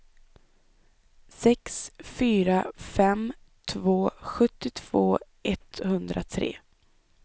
sex fyra fem två sjuttiotvå etthundratre